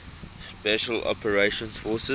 special operations forces